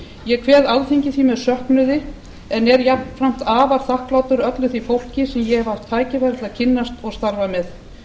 ég kveð alþingi því með söknuði en er jafnframt afar þakklátur öllu því fólki sem ég hef haft tækifæri til að kynnast og starfa með